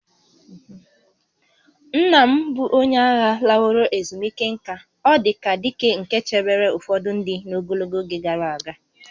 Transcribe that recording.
Nna m bụ onye agha laworo ezumike nka, ọ dị ka dike nke chebere ụfọdụ ndị n'ogologo oge gara aga